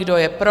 Kdo je pro?